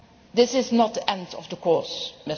ahead. This is not the end of